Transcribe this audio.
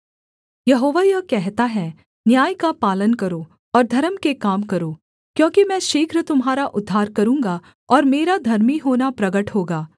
यहोवा यह कहता है न्याय का पालन करो और धर्म के काम करो क्योंकि मैं शीघ्र तुम्हारा उद्धार करूँगा और मेरा धर्मी होना प्रगट होगा